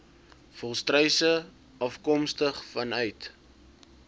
volstruise afkomstig vanuit